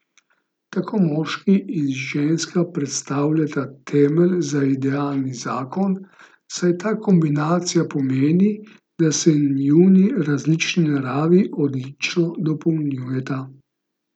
Tako moški in ženska predstavljata temelj za idealni zakon, saj ta kombinacija pomeni, da se njuni različni naravi odlično dopolnjujeta.